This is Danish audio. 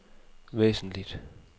væsentligt